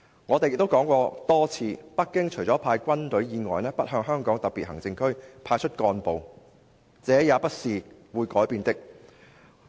我們還多次說過，北京除了派軍隊以外，不向香港特別行政區派出幹部，這也是不會改變的。